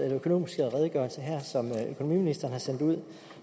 økonomiske redegørelse som økonomiministeren har sendt ud